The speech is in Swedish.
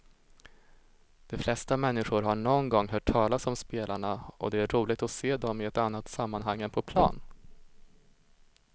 De flesta människor har någon gång hört talas om spelarna och det är roligt att se dem i ett annat sammanhang än på plan.